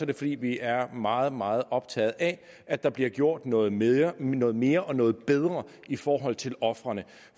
det fordi vi er meget meget optaget af at der bliver gjort noget mere noget mere og noget bedre i forhold til ofrene